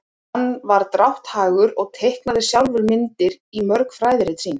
hann var drátthagur og teiknaði sjálfur myndir í mörg fræðirit sín